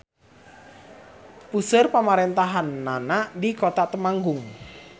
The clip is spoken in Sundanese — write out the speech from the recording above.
Puseur pamarentahannana di Kota Temanggung.